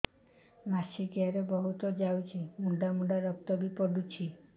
ମାସିକିଆ ରେ ବହୁତ ଯାଉଛି ମୁଣ୍ଡା ମୁଣ୍ଡା ରକ୍ତ ବି ପଡୁଛି